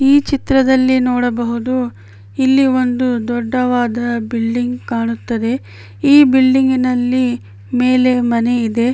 ಈ ಚಿತ್ರದಲ್ಲಿ ನೋಡಬಹುದು ಇಲ್ಲಿ ಒಂದು ದೊಡ್ಡಾವದ ಬಿಲ್ಡಿಂಗ್ ಕಾಣುತ್ತದೆ ಈ ಬಿಲ್ಡಿಂಗ್ ನಲ್ಲಿ ಮೇಲೆ ಮನೆ ಇದೆ .